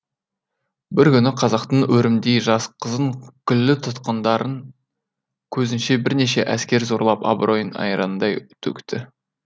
бір күні қазақтың өрімдей жас қызын күллі тұтқындарын көзінше бірнеше әскер зорлап абыройын айрандай төкті